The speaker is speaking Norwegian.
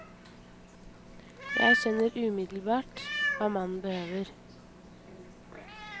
Jeg skjønner umiddelbart hva mannen behøver.